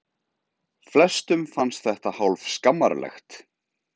Flestum fannst þetta hálf skammarlegt.